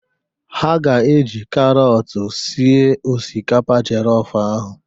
Ha ga-eji karọt sie osikapa jọlọf ahụ.